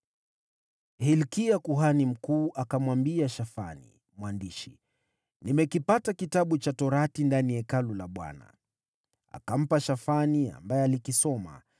Hilkia kuhani mkuu akamwambia Shafani mwandishi, “Nimekipata Kitabu cha Sheria ndani ya Hekalu la Bwana .” Akampa Shafani, ambaye alikisoma.